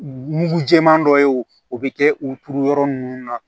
Mugu jɛman dɔ ye o bɛ kɛ u turu yɔrɔ ninnu na